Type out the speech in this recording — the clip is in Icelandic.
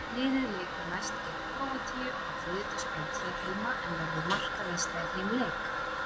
Liðið leikur næst gegn Króatíu á þriðjudagskvöld hér heima, en verður markaveisla í þeim leik?